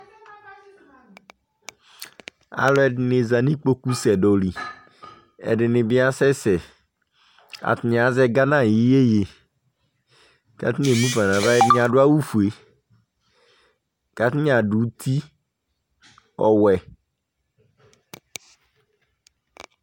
Alʋ ɛdini za nʋ ikpoku sɛdɔ liƐdini bi asɛsɛAtani azɛ Ghana ayiʋ yeye, katani emu fãa nava Ɛdini adʋ awu fueKatani adʋ uti ɔwɛ